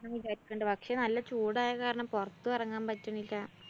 ഞാൻ വിചാരിക്കിണ്ട്. പക്ഷേ നല്ല ചൂടായ കാരണം പൊറത്തും എറങ്ങാന്‍ പറ്റണില്ല.